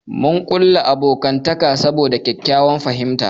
Mun kulla abokantaka saboda ƙyaƙƙyawan fahimta.